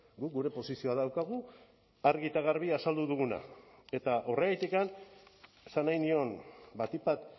guk gure posizioa daukagu argi eta garbi azaldu duguna eta horregatik esan nahi nion batik bat